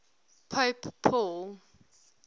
pope paul